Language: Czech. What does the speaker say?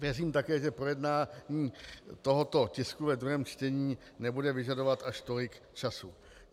Věřím také, že projednání tohoto tisku ve druhém čtení nebude vyžadovat až tolik času.